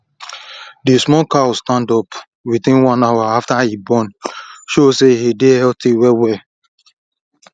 the small cow stand up within one hour after e born show say e dey healthy well well